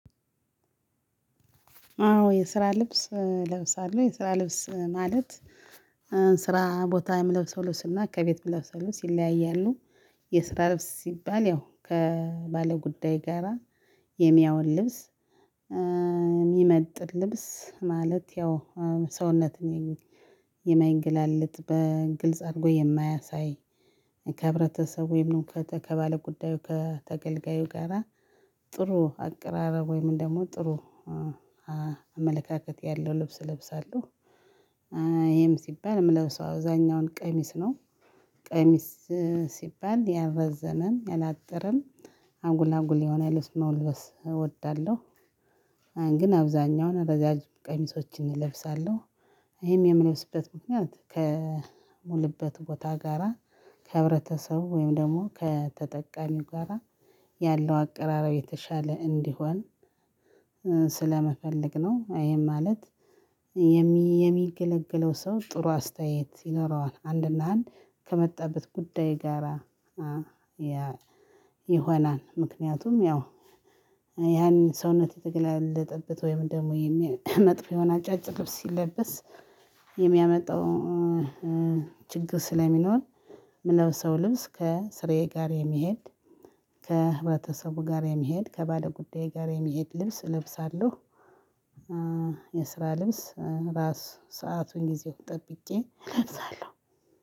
አዎ የስራ ልብስ እለብሳለሁ የስራ ልብስ ማለት ስራ ቦታ የምለብሰው ለብስ እና ከቤት እምለብሰው ለብስ ይለያያሉ። የስራ ልብስ ሲባል ያው ከባለጉዳይ ጋራ የሚያውል ልብስ እሚመጥን ልብስ ማለት ያው ሰውነትን የማይገላልጥ በግልጽ አድርጎ የማያሳይ ከህብረተሰቡ ወይም ከባለጉዳዩ ከተገልጋዩ ጋራ ጥሩ አቀራረብ ወይም ደሞ ጥሩ አመለካከት ያለው ልብስ እለብሳለሁ። ይሄም ሲባል የምለብሰው አብዛኛውን ቀሚስ ነው ቀሚስ ሲባል ያልረዘመም ያላጠረም አጉል አጉል የሆነ ልብስ መልበስ እወዳለሁ። አሁን ግን አብዛኛውን ረዣዥሞ ቀሚሶችን እለብሳለሁ። ይሄም የምለብስበት ምክንያት ከምውልበት ቦታ ጋራ ከህብረተሰቡ ወይም ደግሞ ከተጠቃሚው ጋራ ያለው አቀራረብ የተሻለ እንዲሆን ስለመፈለግ ነው። ይሄም ማለት የሚገለገለው ሰው ጥሩ አስተያየት ይኖረዋል አንድና አንድ ከመጣበት ጉዳይ ጋራ ይሆናል። ምክንያቱም ያው ያን ሰውነት የተገላለጠበት ወይም ደግሞ መጥፎ የሆነ አጫጭር ልብስ ሲለበስ የሚያመጣው ችግር ስለሚኖር። የምለብሰው ልብስ ከስራዬ ጋር የሚሄድ ከህብረተሰቡ ጋር የሚሄድ ከባለጉዳዬ ጋር የሚሄድ ልብስ እለብሳለሁ። የስራ ልብስ ራስ ሰአቱን ጊዜውን ጠብቄ እለብሳለሁ።